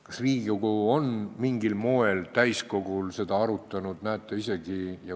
Kas Riigikogu on seda mingil moel täiskogul arutanud?